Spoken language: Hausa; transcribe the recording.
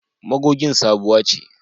Magogin sabuwa ce.